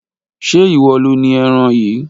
ṣe ìwọ lo ni eran yìí?